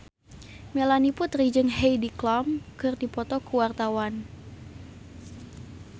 Melanie Putri jeung Heidi Klum keur dipoto ku wartawan